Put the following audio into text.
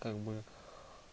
как бы